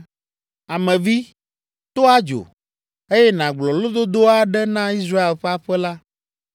“Ame vi, to adzo, eye nàgblɔ lododo aɖe na Israel ƒe aƒe la.